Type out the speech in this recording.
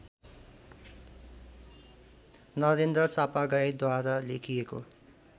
नरेन्द्र चापागाईँद्वारा लेखिएको